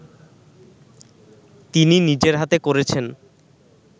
তিনি নিজের হাতে করেছেন